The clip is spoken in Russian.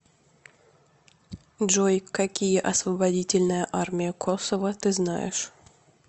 джой какие освободительная армия косово ты знаешь